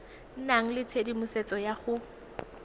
nna le tshedimosetso ya go